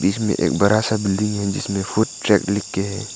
इसमें एक बड़ा सा बिल्डिंग है जिसमें फूड ट्रेक लिख के है।